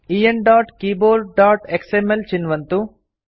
enkeyboardएक्सएमएल चिन्वन्तु